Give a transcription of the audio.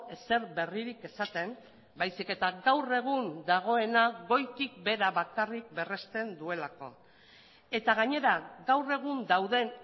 ezer berririk esaten baizik eta gaur egun dagoena goitik behera bakarrik berrezten duelako eta gainera gaur egun dauden